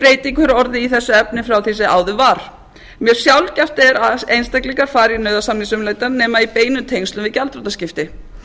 hefur orðið í þessu efni frá því sem áður var mjög sjaldgæft er að einstaklingar fari í nauðasamningsumleitan nema í beinum tengslum við gjaldþrotaskipti